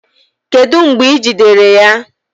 Kedu mgbe e jidere ya?